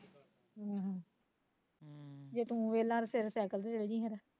ਆਹੋ ਹਮ ਜੇ ਤੂੰ ਵੇਹਲਾ ਸਵੇਰੇ ਸੈਕਲ ਤੇ ਚਲਜੀ ਫੇਰ